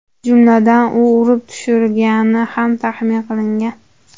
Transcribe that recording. Jumladan, u urib tushirilgani ham taxmin qilingan.